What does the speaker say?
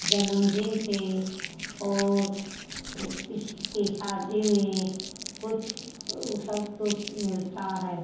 जन्मदिन पे और किसी की शादी में कुछ सब कुछ मिलता हैं।